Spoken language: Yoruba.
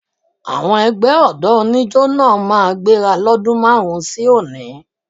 Àwọn ẹgbẹ́ ọ̀dọ́ oníjo náà máa gbéra lọ́dún márùn-ún sí òní